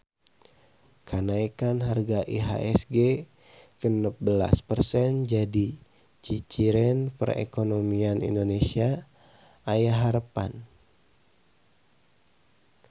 Kanaekan harga IHSG genep belas persen jadi ciciren perekonomian Indonesia aya harepan